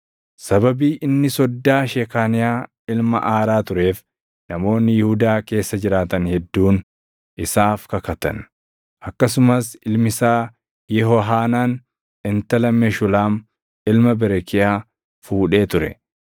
Sababii inni soddaa Shekaaniyaa ilma Aaraa tureef namoonni Yihuudaa keessa jiraatan hedduun isaaf kakatan; akkasumas ilmi isaa Yehohaanaan intala Meshulaam ilma Berekiyaa fuudhee ture.